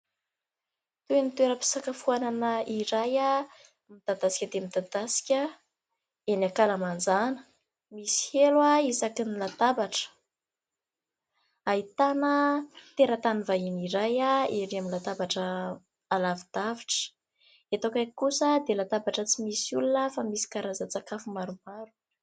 Toy ny toera-pisakafoanana iray midadasika dia midadasika eny an-kalamanjana misy elo isaky ny latabatra. Ahitana tera-tany vahiny iray erỳ amin'ny latabatra alavi-davitra. Eto akaiky kosa dia latabatra tsy misy olona fa misy karazan-tsakafo maromaro.